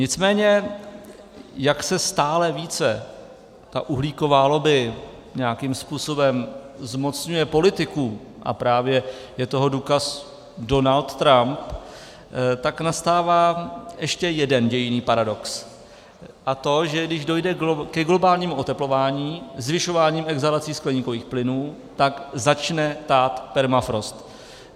Nicméně jak se stále více ta uhlíková lobby nějakým způsobem zmocňuje politiků, a právě je toho důkaz Donald Trump, tak nastává ještě jeden dějinný paradox, a to, že když dojde ke globálnímu oteplování zvyšováním exhalací skleníkových plynů, tak začne tát permafrost.